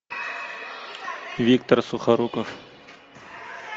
виктор сухоруков